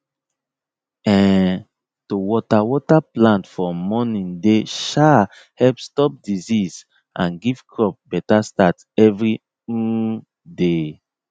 um to water water plant for morning dey um help stop disease and give crop better start every um day